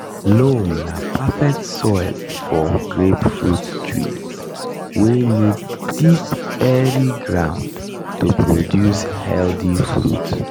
loam na perfect soil for grapefruit trees wey need deep airy ground to produce healthy fruit.